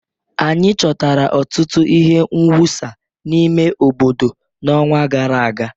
Anyị chọtara ọtụtụ ihe mwụsa n'ime obodo n'ọnwa gara aga